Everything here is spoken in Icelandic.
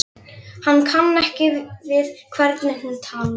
Hann kann ekki við hvernig hún talar.